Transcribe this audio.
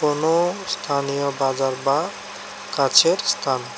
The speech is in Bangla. কোনো স্থানীয় বাজার বা কাছের স্থান।